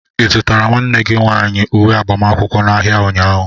Ị zụtara nwanne gị nwanyị uwe agbamakwụkwọ n'ahịa ụnyaahụ?